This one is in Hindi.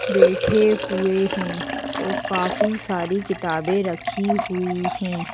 बैठे हुए हैं और काफी सारी किताबें रखी हुई हैं।